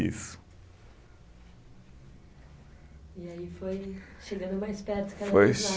Isso. E aí foi chegando mais perto cada vez mais